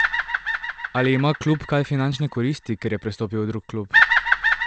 Ali ima klub kaj finančne koristi, ker je prestopil v drug klub?